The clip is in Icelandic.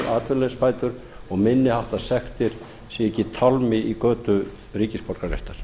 atvinnuleysisbætur og minni háttar sektir séu ekki tálmi í götu ríkisborgararéttar